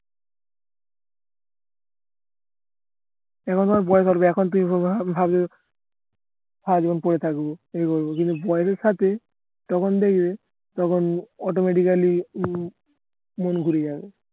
ভয় করবে এখন তুমি পরে থাকবো তখন থেকে যখন automatically উম মন ঘুরে যাবে